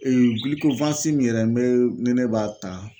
yɛrɛ n bɛ ni ne b'a ta.